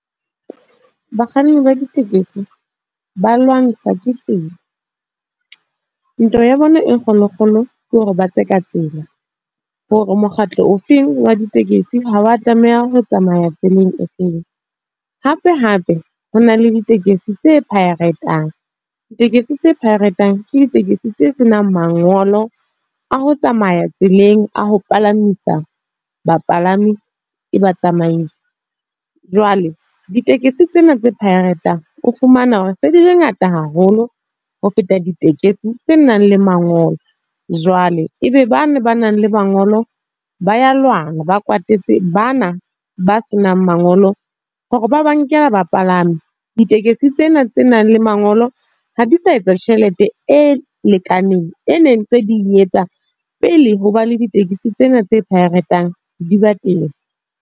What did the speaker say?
Bakganni ba ditekesi, ba lwantshwa ke tsela. Ntwa ya bona e kgolo kgolo, ke hore ba tse ka tsela. Hore mokgatlo o feng wa ditekesi ha wa tlameha ho tsamaya tseleng e feng. Hape hape, ho na le ditekesi tse pirate-ang. Ditekesi tse pirate-ang ke ditekesi tse senang mangolo, a ho tsamaya tseleng. A ho palamisa, bapalami e ba tsamaise. Jwale ditekesi tsena tse pirate-ang, o fumana hore se dile ngata haholo, ho feta ditekesi tse nang le mangolo. Jwale ebe bana ba nang le mangolo ba ya lwana ba kwatetse bana ba senang mangolo hore ba ba nkela ba palami. Ditekesi tsena tse nang le mangolo, ha di sa etsa tjhelete e lekaneng, e neng tse ding etsang pele ho ba le ditekesi tsena tse pirate-ang di ba teng.